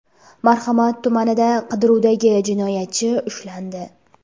Marhamat tumanida qidiruvdagi jinoyatchi ushlandi.